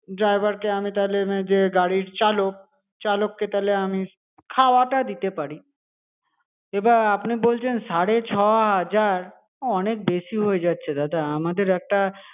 Driver কে আমি তাহলে যে গাড়ির চালক চালককে আমি তাহলে খাওয়াটা দিতে পারি. এবার আপনি বলছেন সাড়ে ছ হাজার অনেক বেশি হয়ে যাচ্ছে দাদা আমাদের একটা